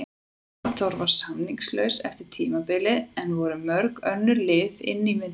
Arnþór var samningslaus eftir tímabilið en voru mörg önnur lið inni í myndinni?